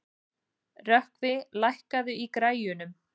Rökkvi, lækkaðu í græjunum.